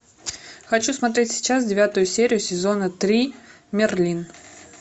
хочу смотреть сейчас девятую серию сезона три мерлин